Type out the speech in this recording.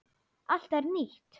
Allt er nýtt.